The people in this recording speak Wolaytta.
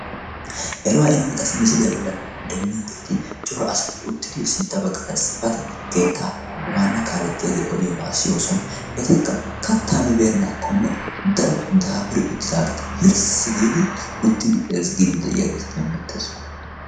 eruwaa inoomi qasi misiliyaa bollan demmiyoogeeti coro asati uttidi sintta baggadassi pate geetta waana kaalettiyaagee odiyoobaa siyoosona etekka kattaa mibeennaakkonne daro daafuri uttidaageeta hilssi giidi uttidi eezgiidi de'iyaageeta demmetees